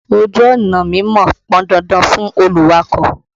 Ojú ọ̀nà mímọ̀ pọn dandan fún olùwakọ̀.